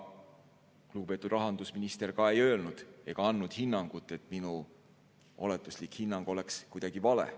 Lugupeetud rahandusminister ei öelnud ega andnud ka hinnangut, et minu oletuslik hinnang olnuks kuidagi vale.